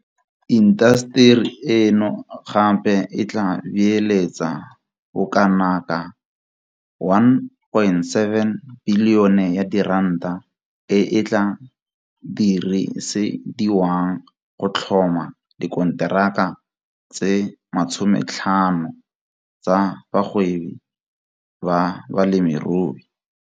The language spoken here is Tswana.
Intaseteri eno gape e tla beeletsa bokanaka R1.7 bilione e e tla dirisediwang go tlhoma dikonteraka di le 50 tsa bagwebi ba balemirui.